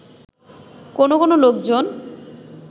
কোনো কোনো লোকজন